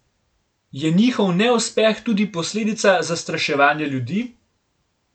Je njihov neuspeh tudi posledica zastraševanja ljudi?